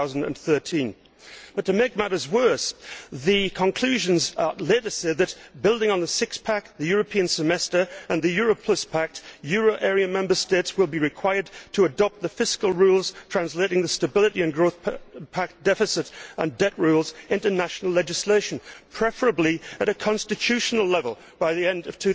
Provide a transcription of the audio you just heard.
2013. To make matters worse, the conclusions later say that building on the six pack', the European Semester and the Europe Plus Pact, euro area Member States will be required to adopt the fiscal rules translating the Stability and Growth Pact deficit and debt rules into national legislation, preferably at a constitutional level by the end of